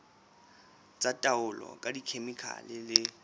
tsa taolo ka dikhemikhale le